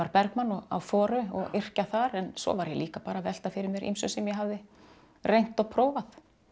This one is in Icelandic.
Bergman á og yrkja þar en svo var ég líka að velta fyrir mér ýmsu sem ég hafði reynt og prófað